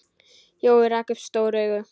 Jói rak upp stór augu.